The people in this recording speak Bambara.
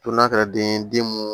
To n'a kɛra den ye den mun